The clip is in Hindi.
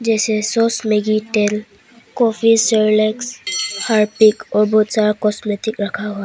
इस मे सॉस मैगी तेल कॉफी सेरेलेक्स हार्पिक और बहुत सारा कॉस्मेटिक समान रखा हुआ है।